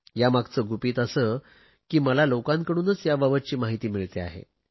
यामागचे गुपित असे की मला लोकांकडूनच याबाबतची माहिती मिळते आहे